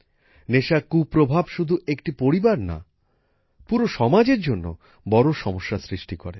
নেশার কুপ্রভাব শুধু একটি পরিবার না পুরো সমাজের জন্য বড় সমস্যা সৃষ্টি করে